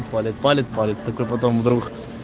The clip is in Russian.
палит палит палит такой потом вдруг